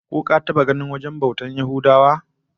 Ko ka taba ganin wajen bautar Yahudawa?